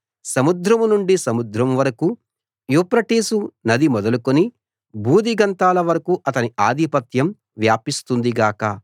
సముద్రం నుండి సముద్రం వరకూ యూఫ్రటీసు నది మొదలుకుని భూదిగంతాల వరకూ అతని ఆధిపత్యం వ్యాపిస్తుంది గాక